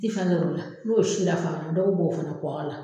I tɛ fɛna sɔrɔ o la n'o si la fara dɔ bɛ b'o o fana kɔgɔ la.